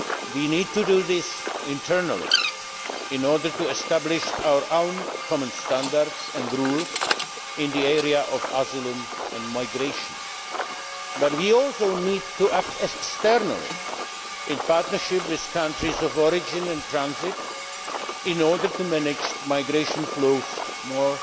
We need to do this internally in order to establish our own common standards and rules in the area of asylum and migration, but we also need to act externally, in partnership with countries of origin and transit, in order to manage migration flows more